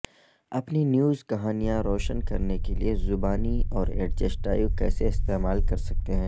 اپنی نیوز کہانیاں روشن کرنے کے لئے زبانی اور ایڈجسٹائیو کیسے استعمال کرسکتے ہیں